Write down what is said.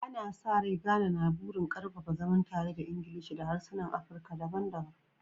Ana sa rai, Ghana na da burin ƙarfafa zaman tare da Ingilishi da harsunan Afirka daban-daban